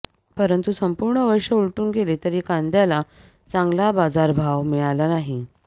परंतु संपूर्ण वर्ष उलटून गेले तरी कांद्याला चांगला बाजारभाव मिळाला नाही